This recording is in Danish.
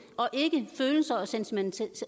og ikke følelser og sentimentalitet